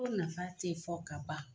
Ko nafa tɛ fɔ ka ban .